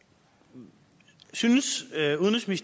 det synes